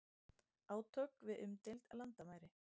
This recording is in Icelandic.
Átök við umdeild landamæri